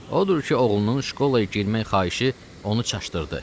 Odur ki, oğlunun şkolaya girmək xahişi onu çaşdırdı.